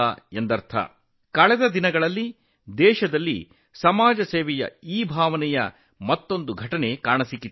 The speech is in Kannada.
ಇತ್ತೀಚಿಗೆ ದೇಶದಲ್ಲಿ ಈ ಸಮಾಜ ಸೇವಾ ಮನೋಭಾವದ ಮತ್ತೊಂದು ಝಲಕ್ ಕಾಣಿಸಿದೆ